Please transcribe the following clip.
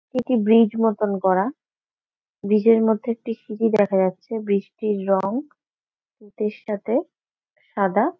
এটি ব্রীজ মতন করা। ব্রীজ -এর মধ্যে একটি সিঁড়ি দেখা যাচ্ছে। ব্রীজ -টির রঙ তুঁতের সাথে সাদা।